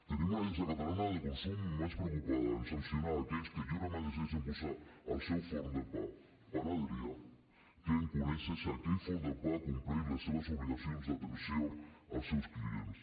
tenim una agència catalana de consum més preocupada a sancionar aquells que lliurement decideixen posar al seu forn de pa panadería que a conèixer si aquell forn de pa compleix les seves obligacions d’atenció als seus clients